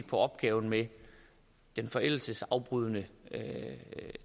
på opgaven med det forældelsesafbrydende